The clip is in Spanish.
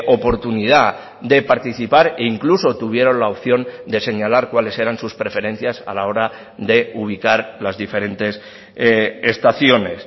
oportunidad de participar e incluso tuvieron la opción de señalar cuáles eran sus preferencias a la hora de ubicar las diferentes estaciones